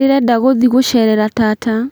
Ndĩrenda guthiĩ gũcerera tata